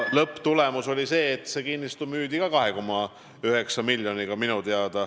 Lõpptulemus oli see, et see kinnistu minu teada ka müüdi 2,9 miljoniga.